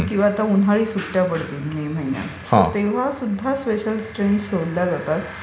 किंवा आता उन्हाळी सुट्ट्या पडतील मे महिन्यात सो तेव्हा सुद्धा स्पेशल ट्रेन्स सोडल्या जातात.